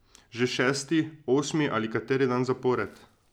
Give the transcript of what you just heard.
Že šesti, osmi ali kateri dan zapored?